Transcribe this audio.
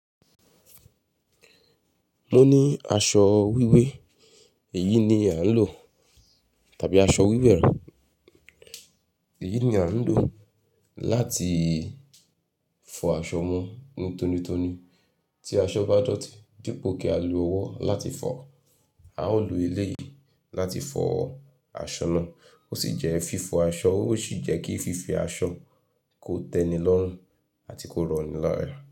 Mo ní aṣọ wíwé, èyí ni a ń lò tàbí aṣọ wíwẹ̀ rẹ, èyí ni a ń lò láti fọ aṣọ mon ní tónítóní. Tí aṣọ bá dòtí dípò kí á lo ọwọ́ láti fọ, a ó lo elé yìí láti fọ aṣọ náà. Ó sì jẹ́ fífọ aṣọ, ó sì jẹ́ kí fífi aṣọ kó tẹ́ni lọ́rùn àti kó rọni lara.